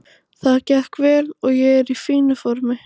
Það gekk vel og ég er í fínu formi.